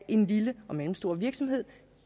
en lille og mellemstor virksomhed